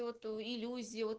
и вот иллюзии вот